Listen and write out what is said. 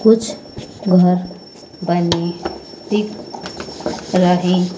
कुछ बाहर बने दिख रहे--